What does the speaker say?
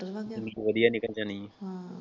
ਵਧੀਆ ਨਿਭ ਜਾਣੀ।